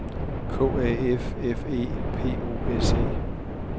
K A F F E P O S E